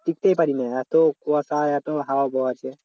টিকতেই পারি না এতো কুয়াশা এতো হাওয়া বইছে